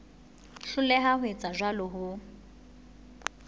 hloleha ho etsa jwalo ho